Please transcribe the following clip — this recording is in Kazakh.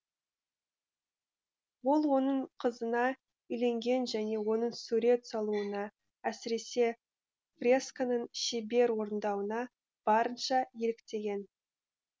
ол оның қызына үйленген және оның сурет салуына әсіресе фресканың шебер орындауына барынша еліктеген